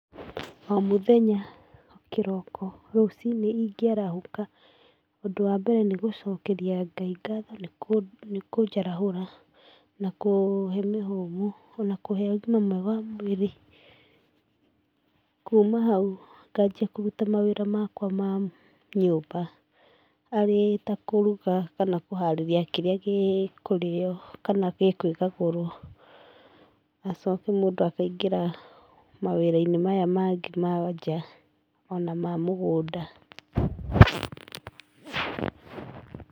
O mũthenya, kĩroko rũciinĩ ingĩarahũka, ũndũ wa mbere nĩ gũcokeria ngai ngatho nĩ kũnja nĩ kũnjarahũra na kũhe mĩhũmũ ona kũhe ũgima mwega wa mwĩrĩ. Kuma hau ngambia kũruta mawĩra makwa ma nyũmba arĩ ta kũruga kana kũharĩria kĩrĩa gĩ kũrĩyo kana gĩ kwĩgagũrwo acoke mũndũ akaingĩra mawĩra-inĩ maya mangĩ ma nja ona ma mũgũnda.